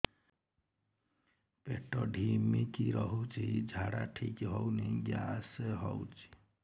ପେଟ ଢିମିକି ରହୁଛି ଝାଡା ଠିକ୍ ହଉନି ଗ୍ୟାସ ହଉଚି